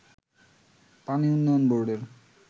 পানি উন্নয়ন বোর্ডের